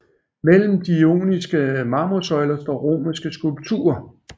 Mellem de ioniske marmorsøjler står romerske skulpturer